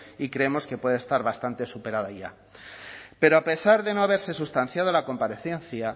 y creemos que puede estar bastante superada ya pero a pesar de no haberse sustanciado la comparecencia